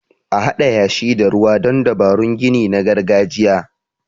A Haɗa yashi da ruwa don dabarun gini na gargajiya.